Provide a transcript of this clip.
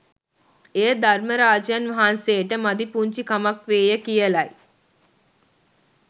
එය ධර්මරාජයන් වහන්සේට මදිපුංචි කමක් වේය කියලයි